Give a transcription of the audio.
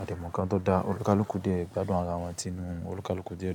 a dẹ mu ǹnkan tó da, ọlukaluku dé, gbádùn ara wọn tinu ọlukaluku dé dún.